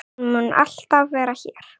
Hún mun alltaf vera hér.